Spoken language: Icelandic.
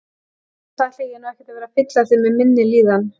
Annars ætla ég nú ekkert að vera að fylla þig með minni líðan.